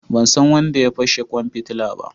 Ban san wanda ya fashe kwan fitila ba.